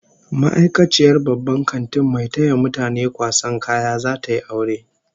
Ma'aikaciyar babban kantin mai taya mutane kwasan kaya, zata yi aure